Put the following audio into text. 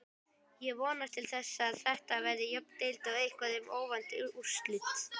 Ég vonast til þess að Þetta verði jöfn deild og eitthvað um óvænt úrslit.